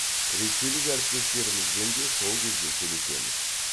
ресейлік әріптестерімізбен де сол кезде сөйлесеміз